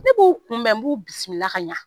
Ne b'u kunbɛn n b'u bisimila ka ɲɛ